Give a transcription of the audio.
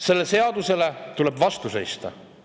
Sellele seadusele tuleb vastu seista.